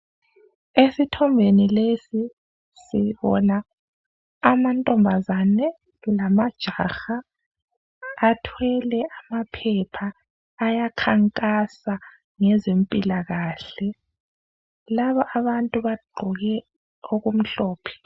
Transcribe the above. Esithombeni lesi sibona amantombazane lama jaha athwele amaphepha aya khankasa ngezempilakahle. Laba abantu baqoke okumhlophe.